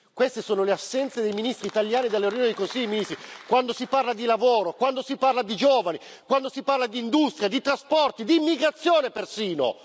Queste sono le assenze dei ministri italiani dalle riunioni del Consiglio dei ministri, quando si parla di lavoro, quando si parla di giovani, quando si parla di industria, di trasporti, di immigrazione persino!